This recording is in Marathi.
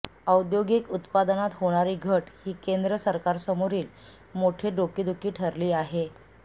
औद्योगिक उत्पादनात होणारी घट ही केंद्र सरकारसमोरील मोठी डोकेदुखी ठरली आहे